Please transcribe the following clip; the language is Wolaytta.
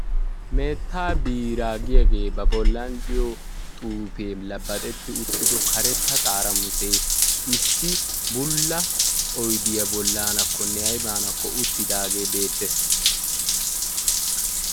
Meettaa biiraa giyagee ba bollan diyo xuufe labbaxetti uttido karetta xaaramuse issi bulla oydiya bollaanakkonne ayba bollanakko uttidaage beettees.